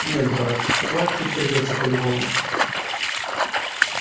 нет брат квакнуть придётся по любому